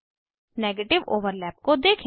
negative overlap को देखें